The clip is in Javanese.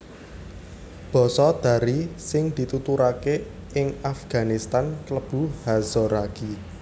Basa Dari sing dituturaké ing Afganistan klebu Hazaragi